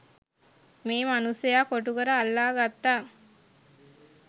මේ මනුස්සයා කොටුකර අල්ලා ගත්තා.